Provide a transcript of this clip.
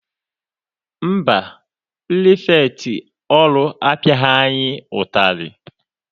Mba, pirifektị ọrụ apiaghi anyị ụtarị.